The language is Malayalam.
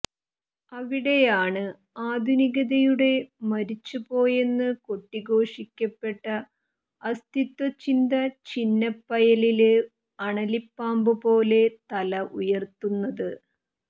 അവിടെയാണ് ആധുനികതയോടെ മരിച്ചുപോയെന്ന് കൊട്ടിഘോഷിക്കപ്പെട്ട അസ്തിത്വചിന്ത ചിന്നപ്പയലില് അണലിപ്പാമ്പുപോലെ തല ഉയര്ത്തുന്നത്